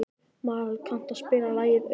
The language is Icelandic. Marel, kanntu að spila lagið „Auður“?